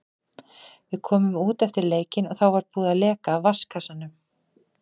Við komum út eftir leikinn og þá var búið að leka af vatnskassanum.